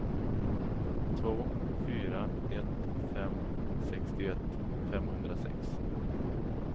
två fyra ett fem sextioett femhundrasex